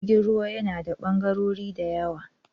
Jirgin ruwa yana da ɓangarori da yawa